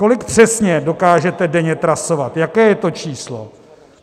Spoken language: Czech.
Kolik přesně dokážete denně trasovat, jaké je to číslo?